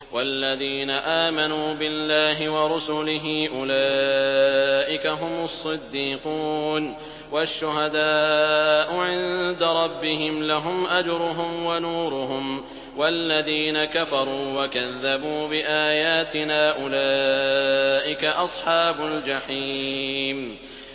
وَالَّذِينَ آمَنُوا بِاللَّهِ وَرُسُلِهِ أُولَٰئِكَ هُمُ الصِّدِّيقُونَ ۖ وَالشُّهَدَاءُ عِندَ رَبِّهِمْ لَهُمْ أَجْرُهُمْ وَنُورُهُمْ ۖ وَالَّذِينَ كَفَرُوا وَكَذَّبُوا بِآيَاتِنَا أُولَٰئِكَ أَصْحَابُ الْجَحِيمِ